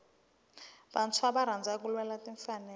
vantshwa ava rhandza ku lwela timfanelo